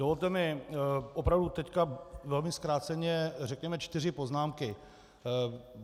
Dovolte mi opravdu teď velmi zkráceně řekněme čtyři poznámky.